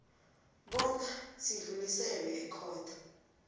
bona sidluliselwe ekhotho